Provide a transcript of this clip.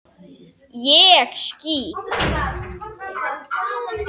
ÉG SKÝT!